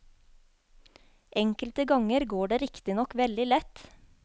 Enkelte ganger går det riktignok veldig lett.